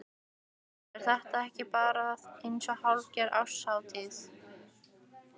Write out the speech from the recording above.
Berghildur: Er þetta ekki bara eins og hálfgerð árshátíð?